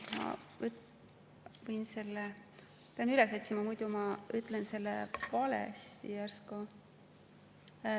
Ma pean üles otsima, muidu ma ütlen selle valesti järsku.